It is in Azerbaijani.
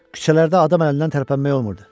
Küçələrdə adam əlindən tərpənmək olmurdu.